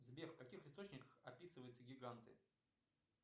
сбер в каких источниках описываются гиганты